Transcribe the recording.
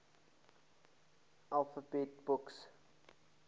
alphabet books